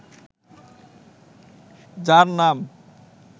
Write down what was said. যার নাম